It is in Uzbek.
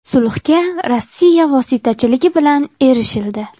Sulhga Rossiya vositachiligi bilan erishildi.